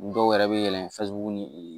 Dɔw yɛrɛ bɛ yɛlɛn ni